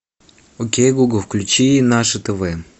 окей гугл включи наше тв